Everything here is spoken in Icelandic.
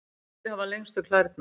hvaða dýr hafa lengstu klærnar